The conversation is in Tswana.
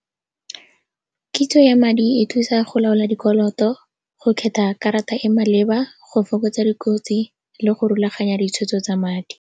Kitso ya madi e thusa go laola dikoloto, go kgetha karata e maleba, go fokotsa dikotsi le go rulaganya ditshwetso tsa madi.